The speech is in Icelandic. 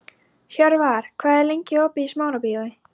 Hjörvar, hvað er lengi opið í Smárabíói?